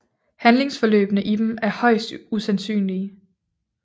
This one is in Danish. Handlingsforløbene i dem er højst usandsynlige